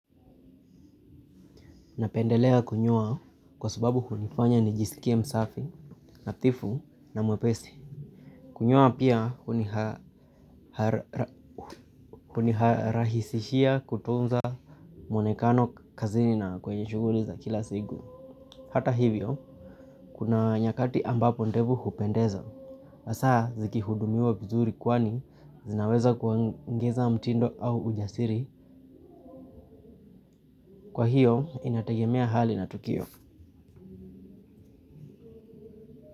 Napendelea kunyoa kwa sababu hunifanya nijisikie msafi, nadhifu, na mwepesi. Kunyoa pia hunirahisishia kutunza mwonekano kazini na kwenye shuguli za kila siku. Hata hivyo, kuna nyakati ambapo ndevu hupendeza. Hasa, zikihudumiwa vizuri kwani zinaweza kuongeza mtindo au ujasiri. Kwa hiyo, inategemea hali na tukio.